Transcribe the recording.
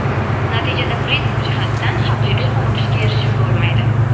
natijada prinsip jihatdan haqiqiy qoniqishga erishib bo‘lmaydi.